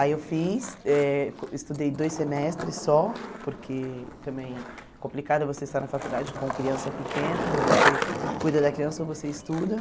Aí eu fiz, eh estudei dois semestres só, porque também é complicado você estar na faculdade com criança pequena, ou você cuida da criança ou você estuda.